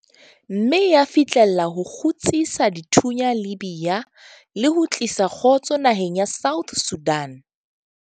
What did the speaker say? Mme ya fihlella ho kgutsisa dithunya Libya le ho tlisa kgotso naheng ya South Sudan.